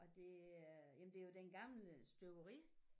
Og det er jamen det jo den gamle støberi